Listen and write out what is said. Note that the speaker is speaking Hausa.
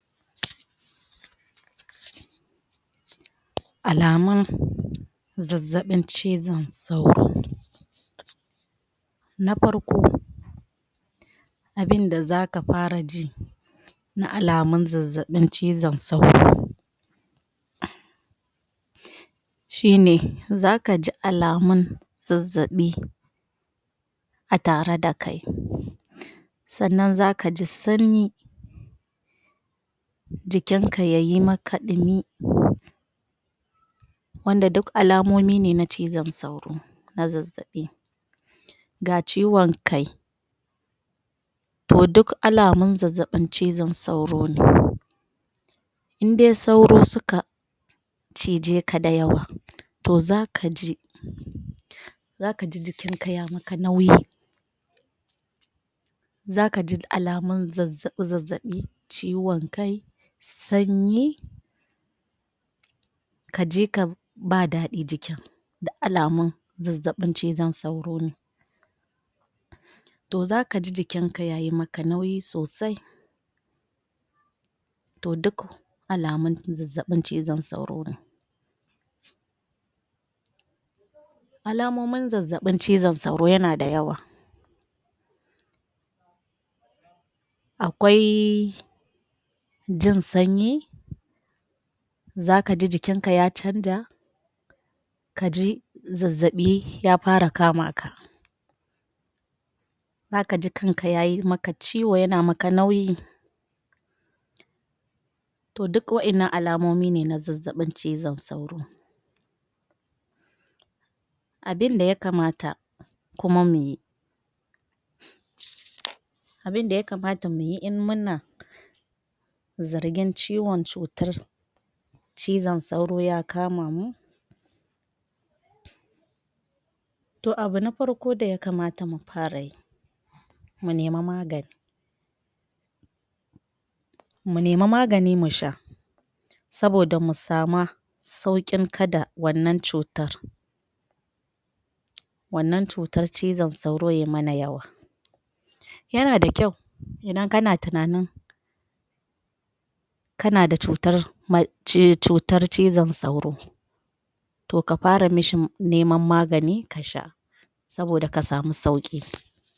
Alamun zazzabin cizon sauro na farko abin da zaka far ji na alamun zazzaɓin cizon sauro shi ne zakaji alamun zazzaɓi a tare da kai sannan zakaji sanyi jikinka yayi maka dumi wanda duk alamomi ne na zazzaɓin cizon sauro ga ciwon kai to duk alamun zazzaɓin sauro ne indai sauro suka cije ka da yawa to zaka ji zakaji duk jikin ka ya maka nauyi zakaji alamun zazzabi zabbabi ciwon kai sanyi kaji ka ba dadi jikin duk alamun zazzaɓin ciwon kai to zaka ji jikin ka yayi maka nauyi sosai to duk alamun zazzaɓin ciwon sauro alamomin zazzaɓi cizon sauro suna da yawa akwaiii... jin sanyi zakaji jikinka ya chanja kaji zazzabi ya fara kama ka zakaji kan ka yayi maka ciwo yana maka nauyi to duk wa'annan alamomin zazzabin cizon sauro ne abinda yakamata kuma muyi abinda ya kamata muyi in muna zargin ciwon cutar ciwon sauro to abu na farko daya kamata muyi mu nema magani mu nemi magani musha saboda mu sama saukin kada wannan cutan wannan cutar cizon sauro ya mana yawa yana da kyau idan kana tinanin kana da cutar cutar cizon sauro to ka fara amishi neman magani ka sha saboda ka sama sauki